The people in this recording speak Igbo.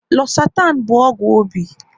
Losatan bụ ọgwụ obi